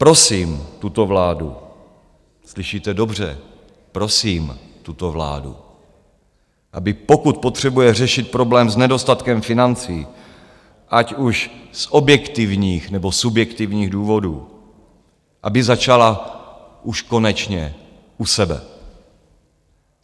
Prosím tuto vládu - slyšíte dobře, prosím tuto vládu - aby pokud potřebuje řešit problém s nedostatkem financí, ať už z objektivních, nebo subjektivních důvodů, aby začala už konečně u sebe.